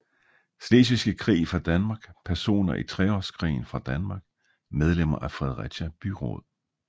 Slesvigske Krig fra Danmark Personer i Treårskrigen fra Danmark Medlemmer af Fredericia Byråd